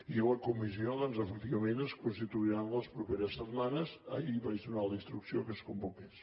i la comissió doncs efectivament es constituirà les properes setmanes ahir vaig donar la instrucció que es convoqués